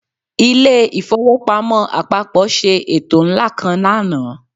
Ilé ìfowópamọ́ àpapọ̀ ṣe ètò ńlá kan lánàá